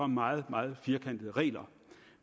meget meget firkantede regler